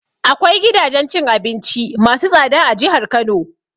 Akwai gidajen cin abinci masu tsada a jihar Kano.